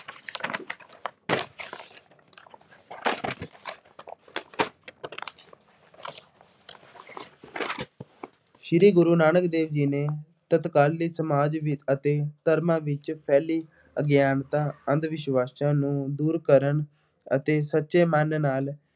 ਸ਼੍ਰੀ ਗੁਰੂ ਨਾਨਕ ਦੇਵ ਜੀ ਨੇ ਤਤਕਾਲੀ ਸਮਾਜ ਵਿੱਚ ਅਤੇ ਧਰਮਾਂ ਵਿੱਚ ਫੈਲੀ ਅਗਿਆਨਤਾ, ਅੰਧ-ਵਿਸ਼ਵਾਸ਼ਾਂ ਨੂੰ ਦੂਰ ਕਰਨ ਅਤੇ ਸੱਚੇ ਮਨ ਨਾਲ